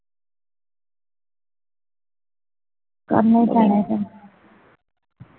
ਕਰਨੇ ਹੀ ਪੈਣੇ ਹੁਣ